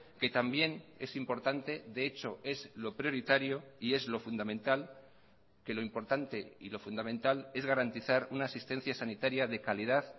que también es importante de hecho es lo prioritario y es lo fundamental que lo importante y lo fundamental es garantizar una asistencia sanitaria de calidad